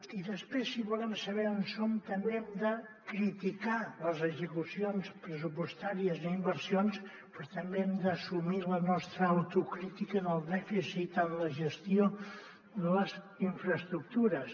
i després si volem saber on som també hem de criticar les execucions pressupostàries i inversions però també hem d’assumir la nostra autocrítica del dèficit en la gestió de les infraestructures